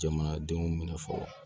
Jamanadenw minɛ fɔlɔ